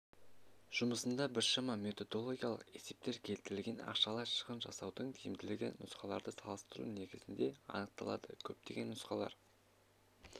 жұмысында біршама методологиялық есептер келтірілген ақшалай шығын жасаудың тиімділігі нұсқаларды салыстыру негізінде анықталады көптеген нұсқалар